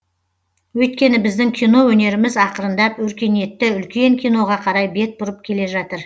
өйткені біздің кино өнеріміз ақырындап өркениетті үлкен киноға қарай бет бұрып келе жатыр